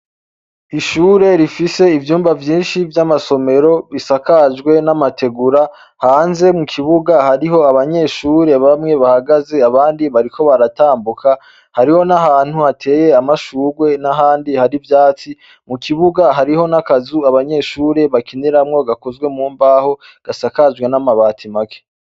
Ishure rifise ivyumba vyinshi vy'amasomero bisakajwe n'amategura hanze mu kibuga hariho abanyeshure bamwe bahagaze abandi bariko baratambuka, hariho n'ahantu hateye amashurwe n'ahandi hari ivyatsi, mu kibuga hariho n'akazu abanyeshure bakiniramwo gakozwe mu mbaho gasakajwe n'amabati make.